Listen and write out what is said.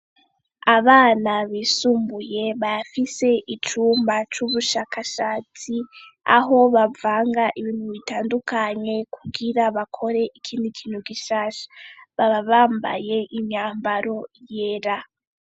Abana b'isumbuye bafise icumba c'ubushakashatsi, aho bavanga ibintu bitandukanye kugira bakore ikindi kintu gishasha, baba bambaye imyambaro y'era.